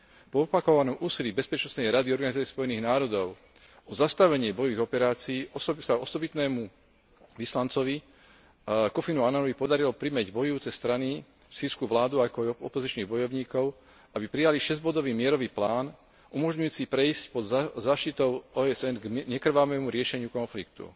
Po opakovanom úsilí Bezpečnostnej rady Organizácie Spojených národov o zastavenie bojových operácií sa osobitnému vyslancovi Kofimu Ananovi podarilo primäť bojujúce strany, sýrsku vládu, ako aj opozičných bojovníkov, aby prijali šesťbodový mierový plán umožňujúci prejsť pod záštitou OSN k nekrvavému riešeniu konfliktu.